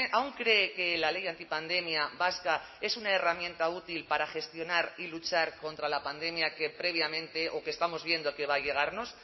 aún cree que la ley antipandemia vasca es una herramienta útil para gestionar y luchar contra la pandemia que previamente o que estamos viendo que va a llegarnos